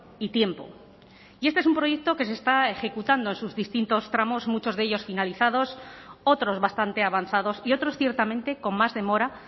y tiempo y este es un proyecto que se está ejecutando en sus distintos tramos muchos de ellas finalizadas otros bastante avanzados y otros ciertamente con más demora